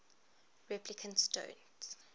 replicants don't